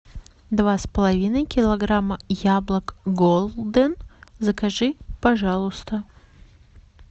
два с половиной килограмма яблок голден закажи пожалуйста